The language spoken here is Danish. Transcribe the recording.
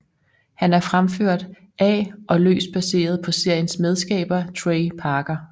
Han er fremført af og løst baseret på seriens medskaber Trey Parker